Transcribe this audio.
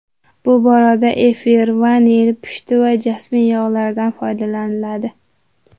Bu borada efir, vanil, pushti va jasmin yog‘laridan foydalanadi.